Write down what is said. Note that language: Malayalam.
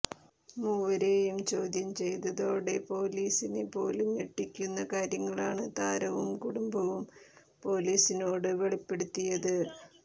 മൂവരേയും ചോദ്യം ചെയ്തതോടെ പോലാസിനെ പോലും ഞെട്ടിക്കുന്ന കാര്യങ്ങളാണ് താരവും കുടുംബവും പോലീസിനോട് വെളിപ്പെടുത്തിയത്